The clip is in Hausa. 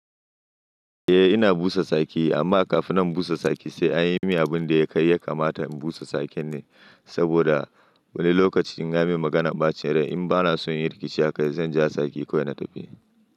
Eh ina busa tsaki amma kafin in busa saki sai an yi min abun da ya kai ya kamata in busa tsakin ne saboda wani lokaci in ga min magana ɓa cin rai in ba na son yin rikici haka zan ja tsaki kawai na tafi.